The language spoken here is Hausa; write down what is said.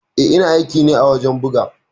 Eh ina aiki ne a wajen buga.